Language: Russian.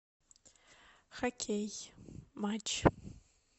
хоккей матч